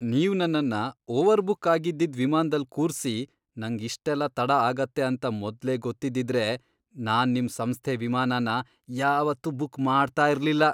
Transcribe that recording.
ನೀವ್ ನನ್ನನ್ನ ಓವರ್ಬುಕ್ ಆಗಿದ್ದಿದ್ ವಿಮಾನ್ದಲ್ ಕೂರ್ಸಿ ನಂಗ್ ಇಷ್ಟೆಲ್ಲ ತಡ ಆಗತ್ತೆ ಅಂತ ಮೊದ್ಲೇ ಗೊತ್ತಿದ್ದಿದ್ರೆ ನಾನ್ ನಿಮ್ ಸಂಸ್ಥೆ ವಿಮಾನನ ಯಾವತ್ತೂ ಬುಕ್ ಮಾಡ್ತಾ ಇರ್ಲಿಲ್ಲ.